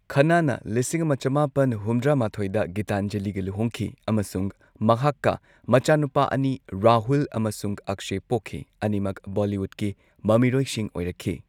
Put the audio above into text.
ꯈꯟꯅꯥꯅ ꯂꯤꯁꯤꯡ ꯑꯃ ꯆꯃꯥꯄꯟ ꯍꯨꯝꯗ꯭ꯔꯥ ꯃꯥꯊꯣꯏꯗ ꯒꯤꯇꯥꯟꯖꯂꯤꯒ ꯂꯨꯍꯣꯡꯈꯤ ꯑꯃꯁꯨꯡ ꯃꯍꯥꯛꯀ ꯃꯆꯥꯅꯨꯄꯥ ꯑꯅꯤ, ꯔꯥꯍꯨꯜ ꯑꯃꯁꯨꯡ ꯑꯛꯁꯌ, ꯄꯣꯛꯈꯤ ꯑꯅꯤꯃꯛ ꯕꯣꯂꯤꯋꯨꯗꯀꯤ ꯃꯃꯤꯔꯣꯏꯁꯤꯡ ꯑꯣꯏꯔꯛꯈꯤ꯫